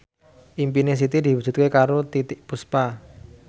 impine Siti diwujudke karo Titiek Puspa